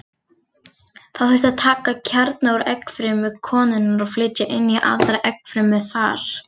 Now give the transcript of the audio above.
Þá þyrfti að taka kjarna úr eggfrumu konunnar og flytja inn í aðra eggfrumu hennar.